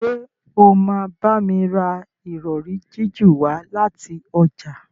Ṣe o ma bámi rà Ìrọ̀rí jiju wá láti ọjà?